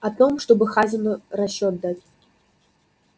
о том чтобы хазину расчёт дать